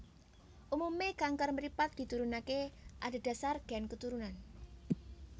Umume kanker mripat diturunake adhedhasar gen keturunan